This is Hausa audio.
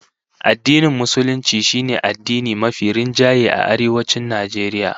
Addinin Musulunci shine addini mafi rinjaye a Arewacin Najeriya